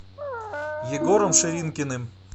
егором ширинкиным